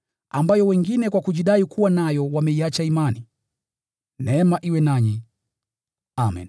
ambayo wengine kwa kujidai kuwa nayo wameiacha imani. Neema iwe nanyi. Amen.